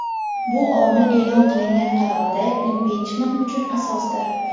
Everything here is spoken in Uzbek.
bu omil e’lon qilingan qarorda impichment uchun asosdir.